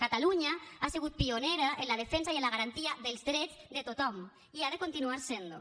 catalunya ha sigut pionera en la defensa i en la garantia dels drets de tothom i ha de continuar sent ho